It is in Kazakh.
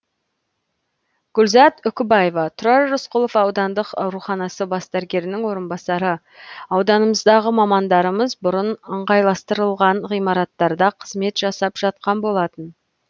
гүлзат үкібаева тұрар рысқұлов аудандық ауруханасы бас дәрігерінің орынбасары ауданымыздағы мамандарымыз бұрын ыңғайластырылған ғимараттарда қызмет жасап жатқан болатын